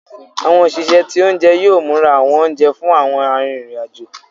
Àwọn òṣìṣẹ́ ti oúnjẹ yóò múra àwọn oúnjẹ fún àwọn arinrin-ajo.